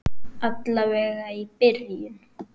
Alla vega í byrjun.